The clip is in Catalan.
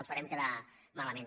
els farem quedar malament